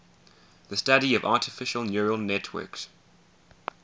the study of artificial neural networks